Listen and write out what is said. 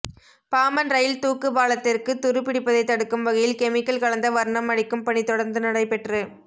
Pamban rail தூக்கு பாலத்திற்கு துரு பிடிப்பதை தடுக்கும் வகையில் கெமிக்கல் கலந்த வா்ணம் அடிக்கும் பணி தொடா்ந்து நடைபெற்று